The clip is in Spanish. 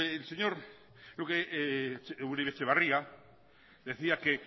el señor uribe etxebarria decía que